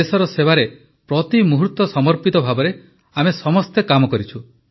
ଦେଶର ସେବାରେ ପ୍ରତି ମୁହୂର୍ତ୍ତ ସମର୍ପିତ ଭାବରେ ଆମେ ସମସ୍ତେ କାମ କରିଛୁ